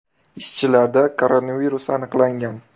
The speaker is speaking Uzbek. Ishchilarda koronavirus aniqlangan.